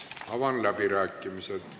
Avan läbirääkimised.